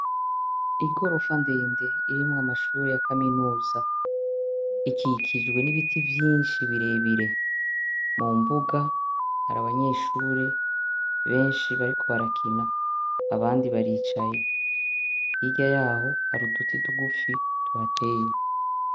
Igorofa ndende irimwo amashure ya kaminuza ikikijwe n'ibiti vyinshi birebire, mumbuga hari abanyeshure benshi bariko barakina abandi baricaye. Hirya y'aho hari uduti dutoduto tuhateye.